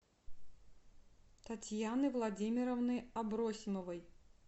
татьяны владимировны абросимовой